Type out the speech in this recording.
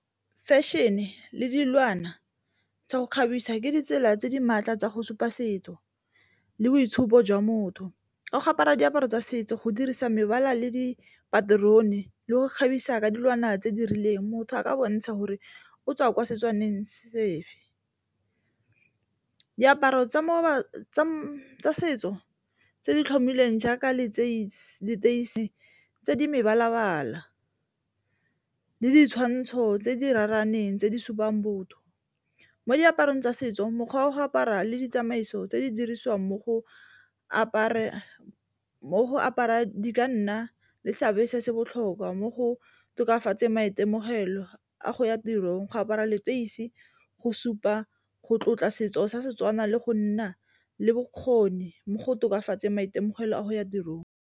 Fashion-e le dilwana tsa go kgabisa ke ditsela tse di maatla tsa go supa setso le boitshupo jwa motho, ka go apara diaparo tsa setso go dirisa mebala le dipaterone le go kgabisa ka dilwana tse di rileng motho a ka bontsha gore o tswa kwa Setswaneng sefe. Diaparo tsa setso tse di tlhomilweng jaaka leteisi tse di mebala-bala le ditshwantsho tse di raraneng tse di supang botho, mo diaparong tsa setso mokgwa wa go apara le ditsamaiso tse di dirisiwang mo go apara di ka nna le tla se se botlhokwa mo go tokafatseng maitemogelo a go ya tirong, go apara leteisi go supa go tlotla setso sa Setswana le go nna le bokgoni mo go tokafatseng maitemogelo a go ya tirong.